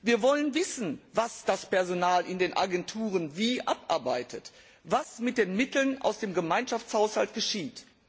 Wir wollen wissen, was das Personal in den Agenturen wie abarbeitet, was mit den Mitteln aus dem Gemeinschaftshaushalt geschieht.